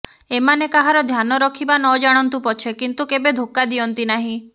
ଏମାନେ କାହାର ଧ୍ୟାନ ରଖିବା ନ ଜାଣନ୍ତୁ ପଛେ କିନ୍ତୁ କେବେ ଧୋକା ଦିଅନ୍ତି ନାହିଁ